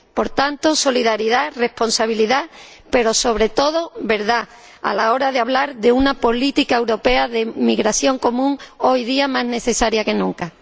Por tanto, solidaridad y responsabilidad, pero sobre todo verdad, a la hora de hablar de una política europea de inmigración común, hoy día más necesaria que nunca.